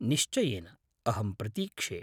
निश्चयेन। अहं प्रतीक्षे।